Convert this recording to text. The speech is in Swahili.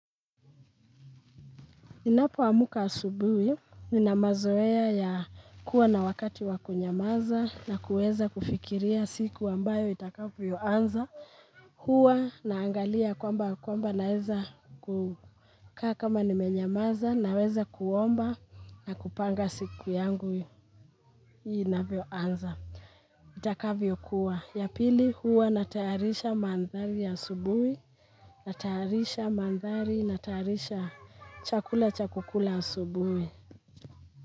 Ninapo amka asubuhi, nina mazoea ya kuwa na wakati wa kunyamaza na kuweza kufikiria siku ambayo itakavyo anza. Huwa naangalia kwamba kwamba naweza kukaa kama nimenyamaza naweza kuomba na kupanga siku yangu inavyo anza. Itakavyo kuwa. Ya pili huwa natayarisha mandhari ya asubuhi, natayarisha mandhari, natayarisha chakula cha kukula asubuhi.